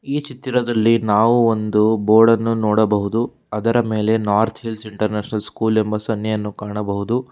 ಈ ಚಿತ್ರದಲ್ಲಿ ನಾವು ಒಂದು ಬೋರ್ಡ್ ಅನ್ನು ನೋಡಬಹುದು ಅದರ ಮೇಲೆ ನಾರ್ತ್ ಹಿಲ್ಸ್ ಇಂಟರ್ನ್ಯಾಷನಲ್ ಸ್ಕೂಲ್ ಎಂಬ ಸನ್ನೆ ಎನ್ನು ಕಾಣಬಹುದು.